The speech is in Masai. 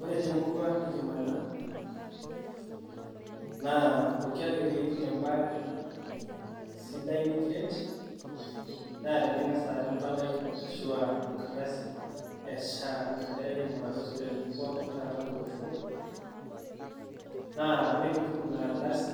Ore te murua nikimanya naa pooki ake tinitum ebaare sidai nikiret naa tening'as aata empalai arashu eng'ardasi eSHA nagirae aing'uraa too sipitalini pookin taata ele Osho, naa ore pee itum ina ardasi